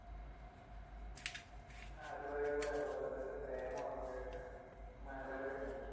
അത് പറയുമ്പോഴാ നമ്മടെ പണ്ടത്തെ പ്രേമം ഓർമ്മ വരുന്നേ മലര്